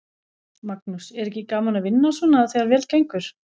Magnús: Er ekki gaman að vinna svona þegar vel gengur?